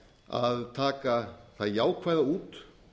að taka það jákvæða út